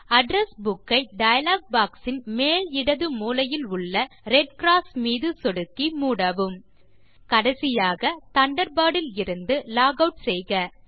address book ஐ dialog box இன் மேல் இடது மூலையிலுள்ள ரெட் க்ராஸ் மீது சொடுக்கி மூடவும் கடைசியாக தண்டர்பர்ட் இலிருந்து லாக் ஆட் செய்க